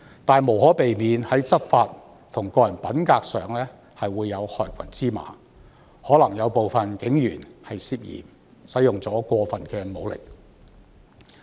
然而，在執法和個人品格方面，無可避免會有害群之馬，有部分警員可能涉嫌使用過分武力。